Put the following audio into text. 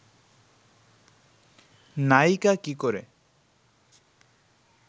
নায়িকা কী করে